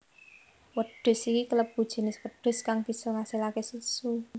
Wedhus iki kalebu jinis wedhus kang bisa ngasilaké susu